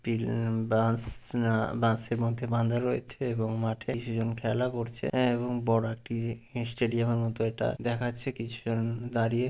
field বাঁশ না বাশেঁর মধ্যে বাঁধা রয়েছে এবং মাঠে কিছু জন খেলা করছে এএ এবং বড় একটি স্টেডিয়াম এর মতো ইটা দেখাচ্ছে কিছুজন উ দাঁড়িয়ে--